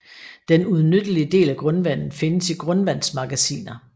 Den udnyttelige del af grundvandet findes i grundvandsmagasiner